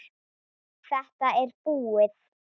Þetta er búið